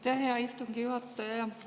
Aitäh, hea istungi juhataja!